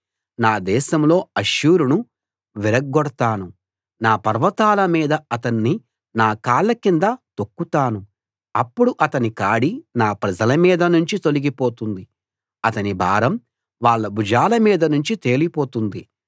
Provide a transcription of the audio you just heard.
నా దేశంలో అష్షూరును విరగ్గొడతాను నా పర్వతాల మీద అతన్ని నా కాళ్ళ కింద తొక్కుతాను అప్పుడు అతని కాడి నా ప్రజల మీద నుంచి తొలగిపోతుంది అతని భారం వాళ్ళ భుజాల మీద నుంచి తేలిపోతుంది